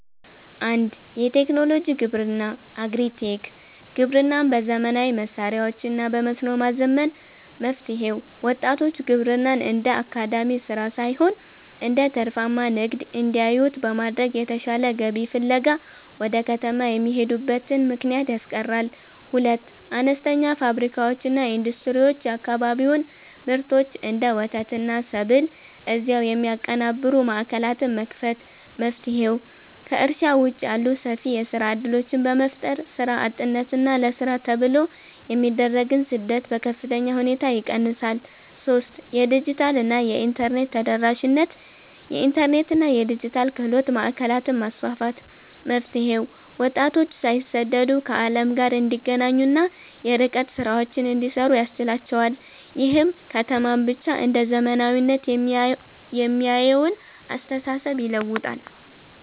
1. የቴክኖሎጂ ግብርና (Agri-Tech) ግብርናን በዘመናዊ መሣሪያዎችና በመስኖ ማዘመን። መፍትሔው፦ ወጣቶች ግብርናን እንደ አድካሚ ሥራ ሳይሆን እንደ ትርፋማ ንግድ እንዲያዩት በማድረግ፣ የተሻለ ገቢ ፍለጋ ወደ ከተማ የሚሄዱበትን ምክንያት ያስቀራል። 2. አነስተኛ ፋብሪካዎችና ኢንዱስትሪዎች የአካባቢውን ምርቶች (እንደ ወተትና ሰብል) እዚያው የሚያቀነባብሩ ማዕከላትን መክፈት። መፍትሔው፦ ከእርሻ ውጭ ያሉ ሰፊ የሥራ ዕድሎችን በመፍጠር፣ ሥራ አጥነትንና ለሥራ ተብሎ የሚደረግን ስደት በከፍተኛ ሁኔታ ይቀንሳል። 3. የዲጂታልና የኢንተርኔት ተደራሽነት የኢንተርኔትና የዲጂታል ክህሎት ማዕከላትን ማስፋፋት። መፍትሔው፦ ወጣቶች ሳይሰደዱ ከዓለም ጋር እንዲገናኙና የርቀት ሥራዎችን እንዲሠሩ ያስችላቸዋል። ይህም ከተማን ብቻ እንደ "ዘመናዊነት" የሚያየውን አስተሳሰብ ይለውጣል።